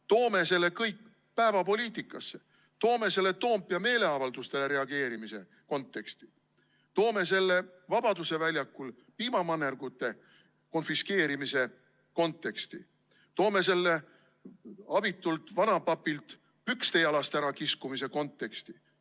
Toome selle kõik päevapoliitikasse, toome selle Toompea meeleavaldustele reageerimise konteksti, toome selle Vabaduse väljakul piimamannergute konfiskeerimise konteksti, toome selle abitult vanapapilt pükste jalast ärakiskumise konteksti.